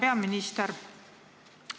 Hea peaminister!